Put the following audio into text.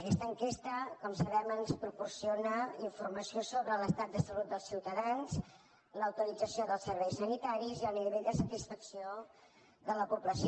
aquesta enquesta com sabem ens proporciona informació sobre l’estat de salut dels ciutadans la utilització dels serveis sanitaris i el nivell de satisfacció de la població